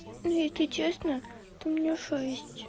если честно то мне шесть